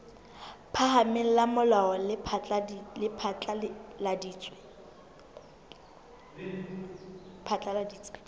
phahameng la molao le phatlaladitse